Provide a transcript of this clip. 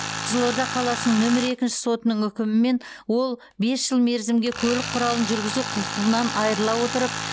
қызылорда қаласының нөмір екінші сотының үкімімен ол бес жыл мерзімге көлік құралын жүргізу құқығынан айырыла отырып